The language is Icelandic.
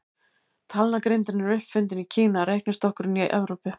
Talnagrindin er upp fundin í Kína, reiknistokkurinn í Evrópu.